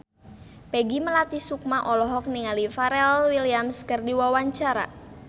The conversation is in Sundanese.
Peggy Melati Sukma olohok ningali Pharrell Williams keur diwawancara